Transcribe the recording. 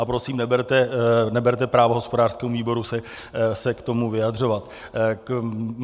A prosím, neberte právo hospodářskému výboru se k tomu vyjadřovat.